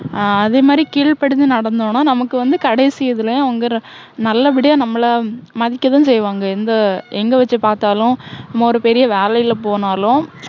ஆஹ் அதே மாதிரி கீழ் படிஞ்சு நடந்தோன்னா, நமக்கு வந்து கடைசி இதுலயும், அவங்க நல்ல படியா நம்மள, மதிக்க தான் செய்வாங்க. எந்த எங்க வச்சு பாத்தாலும், நம்ம ஒரு பெரிய வேலைல போனாலும்,